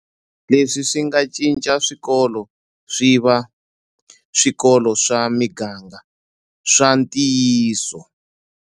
Leswi swi nga cinca swikolo swi va swikolo swa miganga swa ntiyiso.